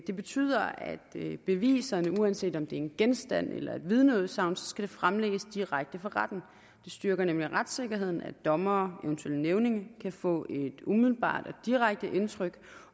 det betyder at beviserne uanset om det er en genstand eller et vidneudsagn skal fremlægges direkte for retten det styrker nemlig retssikkerheden at dommere og eventuelle nævninge kan få et umiddelbart og direkte indtryk